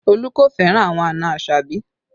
Olu kò fẹ́ràn àwọn àna Asabi